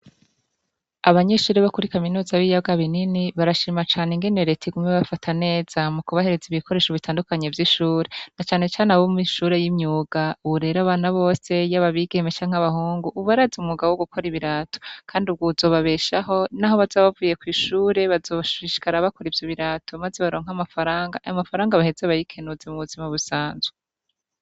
Abanyeshure bo kuri kaminuza y'ibiyaga binini, barashima cane ingene Reta iguma ibafata neza, mu kubahereza ibikoresho bitandukanye vy'ishure, na canecane abo mw'ishure y'imyuga, ubu rero abana bose, yaba abigeme canke abahungu, ubu barazi umwuga wo gukora ibirato, kandi uwo uzobabeshaho, n'aho bazoba bavuye kw'ishure, bazoshishikara bakora ivyo birato, maze baronka amafaranga, ayo mafaranga baheze bayikenuze mu buzima busanzwe.